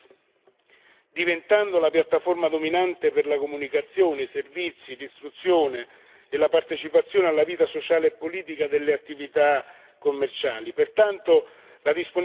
Internet sta diventando la piattaforma dominante per la comunicazione, i servizi, l'istruzione e la partecipazione alla vita sociale e politica delle attività commerciali.